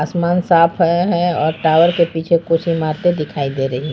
आसमान साफ है और टावर के पीछे कुछ इमारतें दिखाई दे रही हैं।